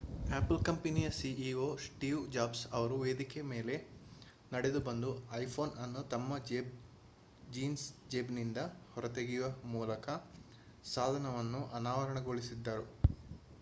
apple ಕಂಪನಿಯ ceo Steve Jobs ಅವರು ವೇದಿಕೆಯ ಮೇಲೆ ನಡೆದುಬಂದು ಐಫೋನ್ ಅನ್ನು ತಮ್ಮ ಜೀನ್ಸ್ ಜೇಬಿನಿಂದ ಹೊರತೆಗೆಯುವ ಮೂಲಕ ಸಾಧನವನ್ನು ಅನಾವರಣಗೊಳಿಸಿದರು